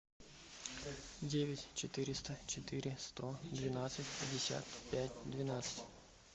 девять четыреста четыре сто двенадцать пятьдесят пять двенадцать